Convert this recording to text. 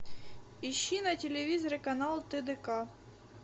ищи на телевизоре канал тдк